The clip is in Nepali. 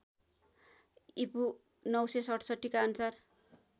ईपू ९६७ का अनुसार